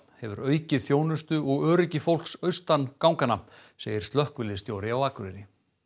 hefur aukið þjónustu og öryggi fólks austan ganganna segir slökkviliðsstjóri á Akureyri